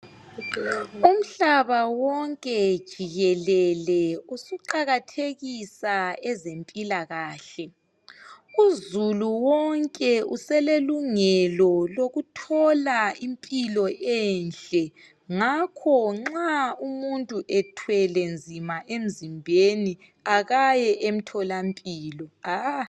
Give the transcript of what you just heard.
Umhlaba wonke jikelele usuqakathekisa ezempilakahle. Uzulu wonke uselelungelo lokuthola iimpilo ehle. Ngakho nxa umuntu ethwele nzima emzimbeni akaye emtholampilo.